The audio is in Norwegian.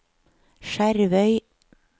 Skjervøy